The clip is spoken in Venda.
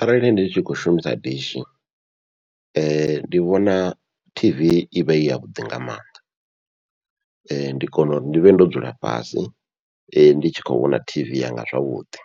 Arali ndi tshi khou shumisa dishi ndi vhona t v ivha i yavhuḓi nga maanḓa, ndi kona uri ndi vhe ndo dzula fhasi ndi tshi khou vhona tv yanga zwavhuḓi